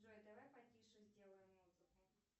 джой давай потише сделаем музыку